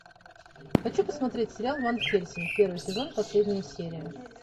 хочу посмотреть сериал ван хельсинг первый сезон последняя серия